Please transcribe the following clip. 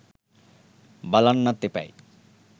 බලන්නත් එපැයි